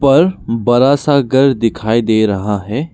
पर बड़ा सा घर दिखाई दे रहा है।